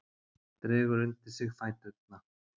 Dregur undir sig fæturna.